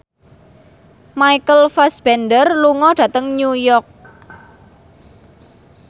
Michael Fassbender lunga dhateng New York